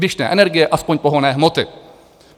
Když ne energie, aspoň pohonné hmoty.